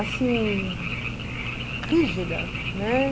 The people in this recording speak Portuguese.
assim, rígida, né?